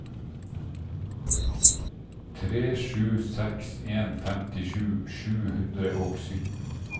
tre sju seks en femtisju sju hundre og sytten